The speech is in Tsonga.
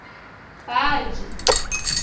baji